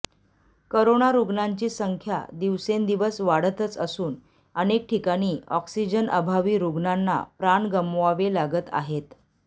corona रुग्णांची संख्या दिवसेंदिवस वाढतच असून अनेक ठिकाणी ऑक्सिजन अभावी रुग्णांना प्राण गमवावे लागत आहेत